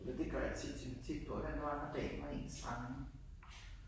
Eller det gør jeg tit. Tænker tit på hvordan var det nu når dagen var ens egen